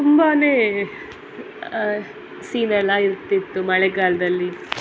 ತುಂಬಾನೇ ಅಹ್ ಅಹ್ ಆ ಸೀನ್ ಎಲ್ಲ ಇರ್ತಿತ್ತು ಮಳೆಗಾಳದಲ್ಲಿ.